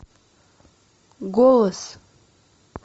голос